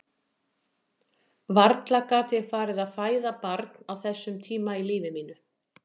Varla gat ég farið að fæða barn á þessum tíma í lífi mínu.